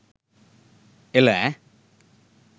එළ ඈ